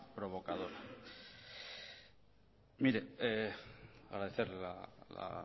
provocadora mire agradecerle la